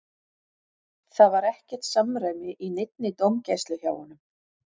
Það var ekkert samræmi í neinni dómgæslu hjá honum.